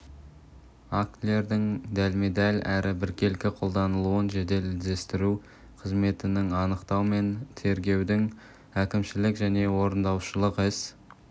актілердің дәлме-дәл әрі біркелкі қолданылуын жедел іздестіру қызметінің анықтау мен тергеудің әкімшілік және орындаушылық іс